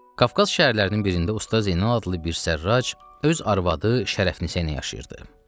Qafqaz şəhərlərinin birində Usta Zeynal adlı bir sərrac öz arvadı Şərəfnisə ilə yaşayırdı.